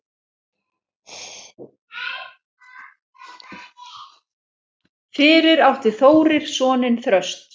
Fyrir átti Þórir soninn Þröst.